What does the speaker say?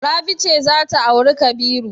Rabi ce za ta auri Kabiru.